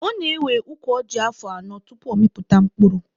Ọ na-ewe ukwu ọjị afọ anọ tupu ọ mịpụta mkpụrụ.